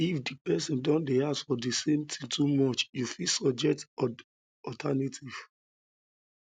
if di person don dey ask for the the same thing too much you fit suggest alternative